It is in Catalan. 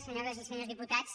senyores i senyors diputats